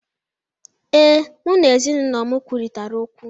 Ee, mụ na ezinụlọ m kwurịtara okwu.